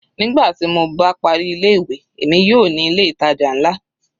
Nígbà tí mo bá parí ilé ìwé, èmi yóò ní ilé ìtàjà nlá.